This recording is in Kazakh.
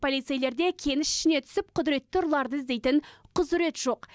полицейлер де кеніш ішіне түсіп құдіретті ұрыларды іздейтін құзырет жоқ